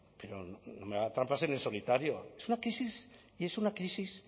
pero no haga trampas en el solitario es una crisis y es una crisis